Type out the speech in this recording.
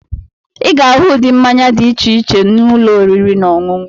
Ị ga-ahụ ụdị mmanya dị iche iche na ụlọ oriri na ọṅụṅụ.